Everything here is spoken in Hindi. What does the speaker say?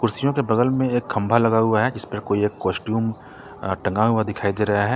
बगल में एक खंभा लगा हुआ है जिस पे कोई एक कुस्टम टंगा हुआ दिखाई दे रहा है।